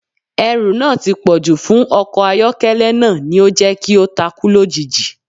Ẹrù náà tí pọ̀jù fún ọkọ̀ àyọ́kẹ́lẹ́ náà ni ó jẹ́ kí ó takú lójijì